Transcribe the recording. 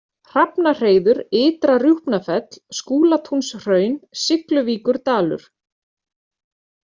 Hrafnahreiður, Ytra-Rjúpnafell, Skúlatúnshraun, Sigluvíkurdalur